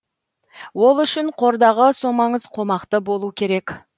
ол үшін қордағы сомаңыз қомақты болу керек